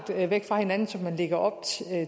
væk fra hinanden som man lægger op